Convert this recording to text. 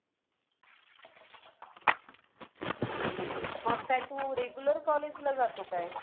मग काय तू regular college ला जातो काय?